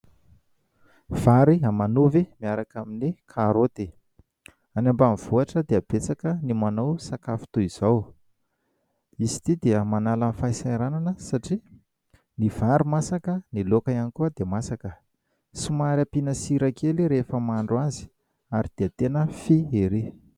Vary aman'ovy miaraka amin'ny karoty. Any ambanivohitra dia betsaka ny manao sakafo toy izao. Izy ity dia manala ny fahasahiranana satria ny vary masaka ny laoka ihany koa dia masaka. Somary ampiana sira kely rehefa mahandro azy, ary dia tena fy erÿ.